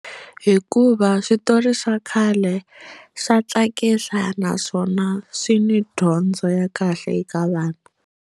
Hikuva switori swa khale swa tsakisa naswona swi ni dyondzo ya kahle eka vanhu.